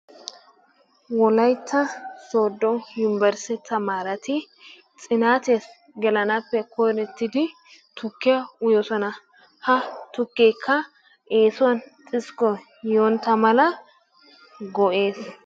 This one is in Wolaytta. Wolaytta soodo yunburshshe tamaaretti xinaattiya gelanaappe koyrotidi tukkiya uyoosona. Ha tukkeekka eessuwan xiskkoy yoonntta mala go'ees.